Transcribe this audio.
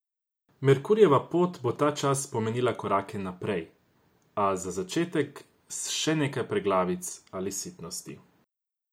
Merkurjeva pot bo ta čas pomenila korake naprej, a za začetek s še nekaj preglavic ali sitnosti.